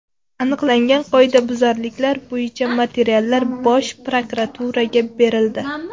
Aniqlangan qoidabuzarliklar bo‘yicha materiallar Bosh prokuraturaga berildi.